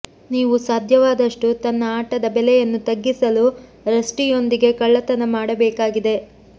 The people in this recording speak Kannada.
ನೀವು ಸಾಧ್ಯವಾದಷ್ಟು ತನ್ನ ಆಟದ ಬೆಲೆಯನ್ನು ತಗ್ಗಿಸಲು ರಸ್ಟಿ ಯೊಂದಿಗೆ ಕಳ್ಳತನ ಮಾಡಬೇಕಾಗಿದೆ